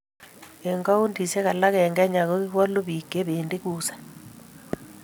eng' kauntisiek alak eng' Kenya ko kiwolu biik che bendi kusaa